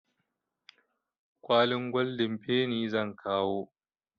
Kwalin goldin feni zan kawo.